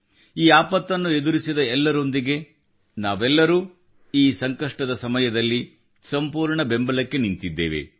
ಈ ಆಪತ್ತನ್ನು ಎದುರಿಸಿದ ಎಲ್ಲರೊಂದಿಗೆ ನಾವೆಲ್ಲರೂ ಈ ಸಂಕಷ್ಟದ ಸಮಯದಲ್ಲಿ ಸಂಪೂರ್ಣ ಬೆಂಬಲಕ್ಕೆ ನಿಂತಿದ್ದೇವೆ